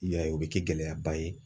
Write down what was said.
I y'a ye ,o be kɛ gɛlɛyaba ye.